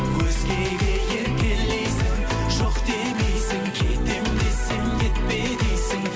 өзгеге еркелейсің жоқ демейсің кетемін десем кетпе дейсің